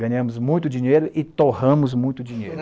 Ganhamos muito dinheiro e torramos muito dinheiro.